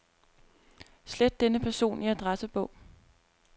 Slet denne person i adressebog.